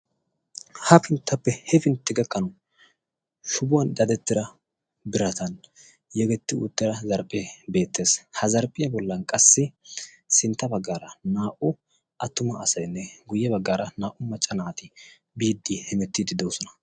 ha pinttappe he fintti gakqanu shubuwan dadettira biratan yegetti uuttira zarphphee beettees. ha zarphphiyaa bollan qassi sintta baggaara naa77u attuma asayinne guyye baggaara naa77u macca naati biiddi hemettiiddi doosona.